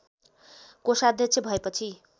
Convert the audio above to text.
कोषाध्यक्ष भएपछि